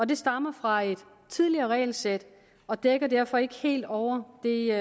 det stammer fra et tidligere regelsæt og dækker derfor ikke helt over det